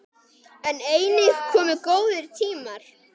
En einnig komu góðir tímar.